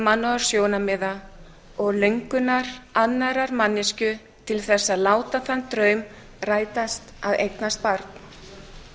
mannúðarsjónarmiða og löngunar annarrar manneskju til þess að láta þann draum rætast að eignast barn